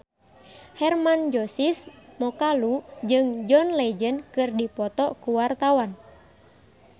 Hermann Josis Mokalu jeung John Legend keur dipoto ku wartawan